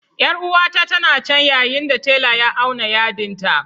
Yar'uwata tana can ya yin da tela ya auna yarɗin ta..